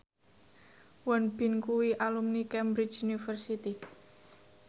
Won Bin kuwi alumni Cambridge University